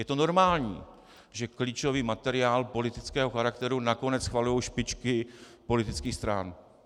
Je to normální, že klíčový materiál politického charakteru nakonec schvalují špičky politických stran.